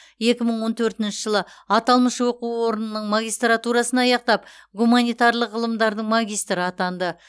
екі мың он төртінші жылы аталмыш оқу орнының магистратурасын аяқтап гуманитарлық ғылымдардың магистрі атанды